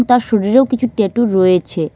তার শরীরেও কিছু ট্যাটু রয়েছে।